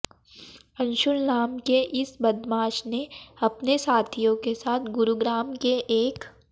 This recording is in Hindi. अंशुल नाम के इस बदमाश ने अपने साथियों के साथ गुरुग्राम के एक